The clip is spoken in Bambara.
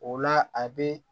O la a bɛ